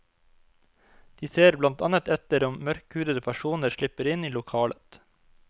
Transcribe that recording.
De ser blant annet etter om mørkhudede personer slipper inn i lokalet.